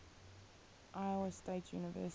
iowa state university